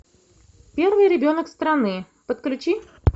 первый ребенок страны подключи